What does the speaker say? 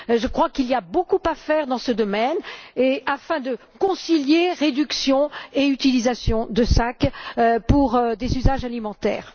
Je crois qu'il y a beaucoup à faire dans ce domaine afin de concilier réduction et utilisation de sacs pour des usages alimentaires.